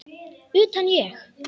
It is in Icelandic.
Utan, ég?